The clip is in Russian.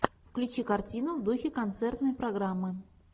включи картину в духе концертной программы